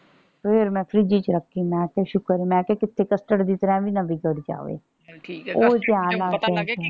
ਫੇਰ ਮੈਂ ਫਰਿੱਜ ਚ ਰੱਖੀ। ਮੈਂ ਕਿਹਾ ਸ਼ੁਕਰ ਹੈ ਮੈਂ ਕਿਹਾ ਕਿਤੇ custard ਦੀ ਤਰ੍ਹਾਂ ਇਹ ਵੀ ਨਾ ਵਿਗੜ ਜਾਵੇ। ਚਲ ਠੀਕ ਐ ਉਹ ਧਿਆਨ ਨਾਲ ਕੀਤਾ